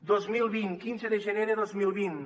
dos mil vint quinze de gener de dos mil vint